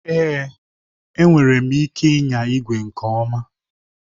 Èé! Enwere m ike ịnya igwe nke ọma